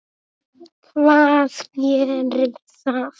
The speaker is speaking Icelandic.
Hvað gerir það?